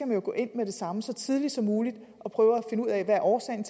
man går ind med det samme eller så tidligt som muligt og prøver at finde ud af hvad årsagen